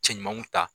Cɛ ɲumanw ta